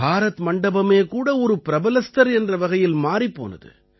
பாரத் மண்டபமே கூட ஒரு பிரபலஸ்தர் என்ற வகையில் மாறிப் போனது